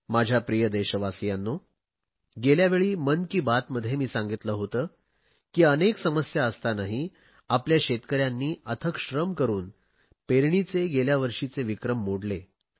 माझ्या प्रिय देशवासियांनो गेल्यावेळी मन की बात मध्ये मी सांगितले होते की अनेक समस्या असतानांही आपल्या शेतकऱ्यांनी अथक श्रम करुन पेरणीचे गेल्या वर्षाचे विक्रम मोडले